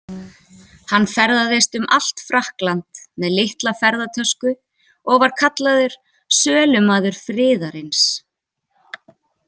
Hann ferðaðist um allt Frakkland með litla ferðatösku og var kallaður „sölumaður friðarins“.